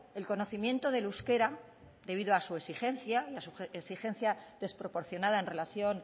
el conocimiento del euskera debido a su exigencia y a su exigencia desproporcionada en relación